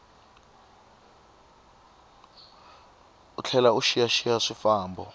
u tlhela u xiyaxiya swifambo